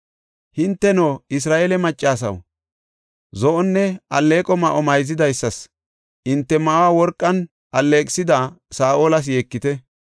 Hinteno Isra7eele maccasaw, zo7onne alleeqo ma7o mayzidaysas, hinte ma7uwa worqan alleeqisida Saa7olas yeekite.